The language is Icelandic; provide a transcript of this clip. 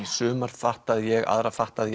suma fattaði ég aðra fattaði